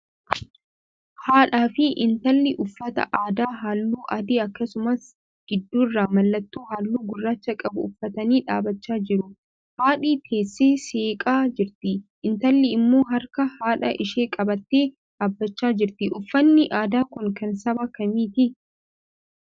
Haadhaa fi intallii uffata aadaa halluu adii, akkasumas gidduurraa mallattoo halluu gurraacha qabu uffatanii dhaabachaa jiru. Haadhi teessee seeqaa jirti; intallii immoo harka haadha ishee qabattee dhaabbachaa jirti. Uffanni aadaa kun kan saba kamiiti?